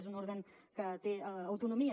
és un òrgan que té autonomia